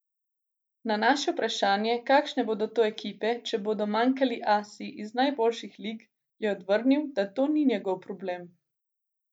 Na naše vprašanje, kakšne bodo to ekipe, če bodo manjkali asi iz najboljših lig, je odvrnil, da to ni njegov problem.